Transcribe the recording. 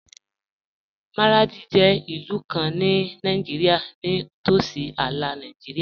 Maradi jẹ ilù kàn ní Nàìjírìà, ní tósí àlà Nàìjírìà.